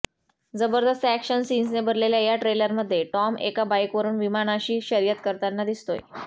जबरदस्त अॅक्शन सीन्सने भरलेल्या या ट्रेलरमध्ये टॉम एका बाईकवरुन विमानाशी शर्यत करताना दिसतोय